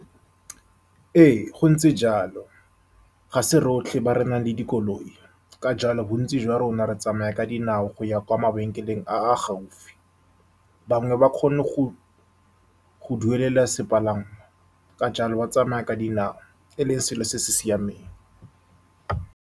Ee, go ntse jalo. Ga se rotlhe ba re nang le dikoloi, ka jalo bontsi jwa rona re tsamaya ka dinao go ya kwa mabenkeleng a a gaufi. Bangwe ba kgona go-go duelela sepalangwa, ka jalo ba tsamaya ka dinao e le ngwe ya dilo tse di siameng.